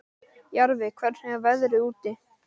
Jarfi, hvernig er veðrið úti?